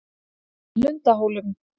Lundahólum